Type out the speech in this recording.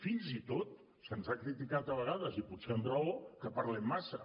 fins i tot se’ns ha criticat a vegades i potser amb raó que parlem massa